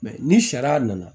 ni sariya nana